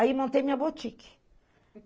Aí, montei minha boutique.